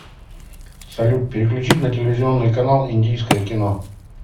салют переключить на телевизионный канал индийское кино